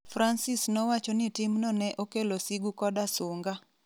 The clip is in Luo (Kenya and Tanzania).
Francis nowacho ni timno ne okelo sigu koda sunga.